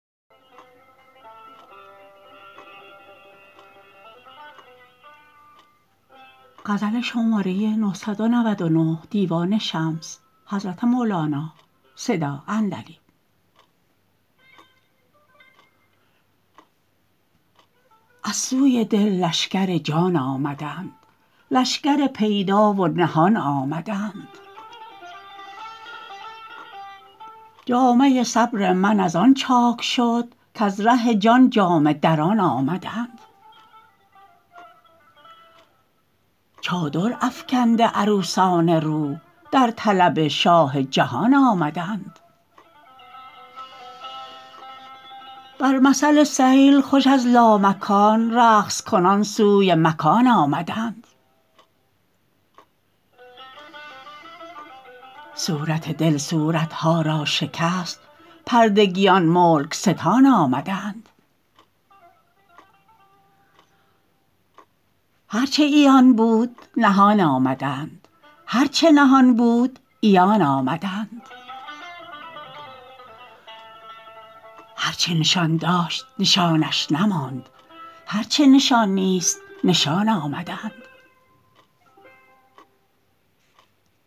از سوی دل لشکر جان آمدند لشکر پیدا و نهان آمدند جامه صبر من از آن چاک شد کز ره جان جامه دران آمدند چادر افکنده عروسان روح در طلب شاه جهان آمدند بر مثل سیل خوش از لامکان رقص کنان سوی مکان آمدند صورت دل صورت ها را شکست پردگیان ملک ستان آمدند هر چه عیان بود نهان آمدند هر چه نهان بود عیان آمدند هر چه نشان داشت نشانش نماند هر چه نشان نیست نشان آمدند